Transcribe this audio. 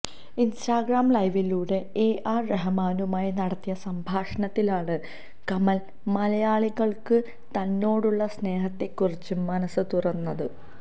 Instagram ലൈവിലൂടെ A R റഹ്മാനുമായി നടത്തിയ സംഭാഷണത്തിലാണ് കമല് മലയാളികള്ക്ക് തന്നോടുള്ള സ്നേഹത്തെക്കുറിച്ച് മനസ് തുറന്നത്